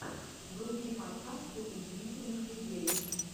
вруби подкасты удивительных людей